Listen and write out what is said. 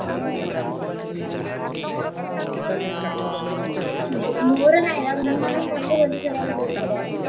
ହୁଁ ଓହୋ, ମୋର ନାହିଁ ବା ମୁଁ କିନ୍ତୁ ମତେ ହୋଲି ଖେଳିବାକୁ ବଢିଆ ଲାଗେ।